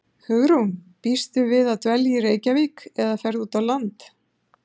Hugrún: Býstu við að dvelja í Reykjavík, eða ferðu út á land?